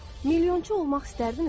Milyonçu olmaq istərdinizmi?